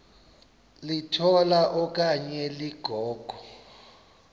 litola okanye ligogo